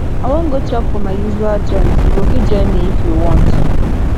i wan go chop for my usual joint you go fit join me if you want